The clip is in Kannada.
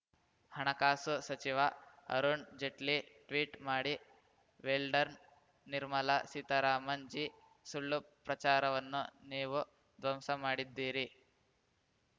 ಹಣಕಾಸು ಸಚಿವ ಅರುಣ್‌ ಜೇಟ್ಲಿ ಟ್ವೀಟ್‌ ಮಾಡಿ ವೆಲ್‌ಡನ್‌ ನಿರ್ಮಲಾ ಸೀತಾರಾಮನ್‌ ಜೀ ಸುಳ್ಳು ಪ್ರಚಾರವನ್ನು ನೀವು ಧ್ವಂಸ ಮಾಡಿದ್ದೀರಿ